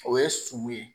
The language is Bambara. O ye sɔmi ye